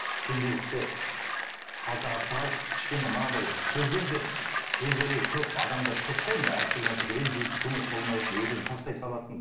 пенделікті қалтаға салып кішкене мынандай бізден де пенделер көп адамдар көп қой мына әртүрлі нәрсеге ренжитін көңілі толмайтын өз өзін тастай салатын